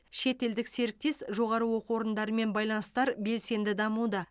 шетелдік серіктес жоғары оқу орындарымен байланыстар белсенді дамуда